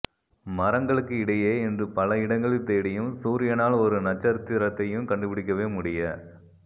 மரங்களுக்கு இடையே என்று பல இடங்களில் தேடியும் சூரியனால் ஒரு நட்சத்திரத்தையும் கண்டுபிடிக்கவே முடிய